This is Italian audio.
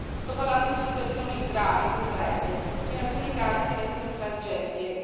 Sto parlando di situazioni gravi, concrete, che in alcuni casi diventano tragedie.